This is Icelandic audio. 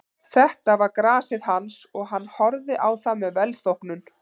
Þetta var grasið hans og hann horfði á það með velþóknun.